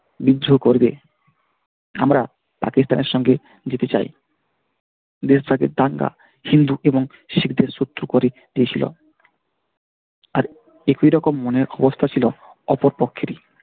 বিদ্রোহ করবে। আমরা পাকিস্তানের সঙ্গে যেতে চাই দেশটাকে দাঙ্গা হিন্দু এবং শিখদের শত্রু করে দিয়েছিল আরে কিরকম মনের অবস্থা ছিল অপর পক্ষেরই।